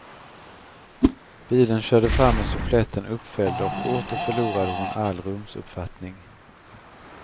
Bilen körde fram med suffletten uppfälld, och åter förlorade hon all rumsuppfattning.